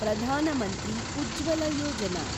Pradhan Mantri Ujjwala Yojana